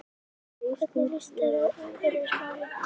Hvernig líst þér á umhverfismálin?